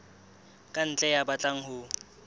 ka ntle ya batlang ho